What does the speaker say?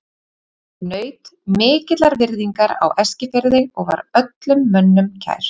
Hann naut mikillar virðingar á Eskifirði og var öllum mönnum kær.